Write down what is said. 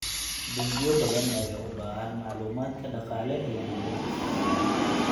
Bangiyo badan ayaa u baahan macluumaadka dhaqaale ee beeralayda.